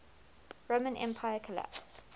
roman empire collapsed